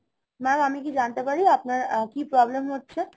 mam, আমি কি জানতে পারি আপনার কি problem হচ্ছে